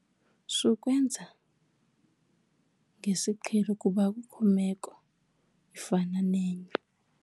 Sukwenza ngesiqhelo kuba akukho meko ifana nenye.